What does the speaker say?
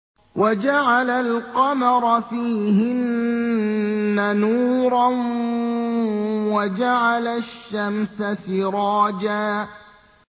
وَجَعَلَ الْقَمَرَ فِيهِنَّ نُورًا وَجَعَلَ الشَّمْسَ سِرَاجًا